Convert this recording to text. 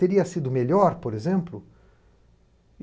Teria sido melhor, por exemplo?